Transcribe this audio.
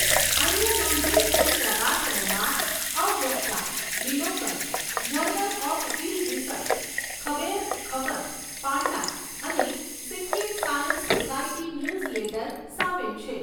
અન્ય નોંધણી થયેલ પ્રકાશનોમાં 'અવ્યક્તા', 'બિલોકન', 'જર્નલ ઓફ હિલ રિસર્ચ', 'ખબેર ખગજ', 'પાંડા' અને 'સિક્કિમ સાયન્સ સોસાયટી ન્યૂઝલેટર' સામેલ છે.